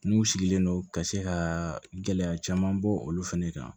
N'u sigilen don ka se ka gɛlɛya caman bɔ olu fɛnɛ kan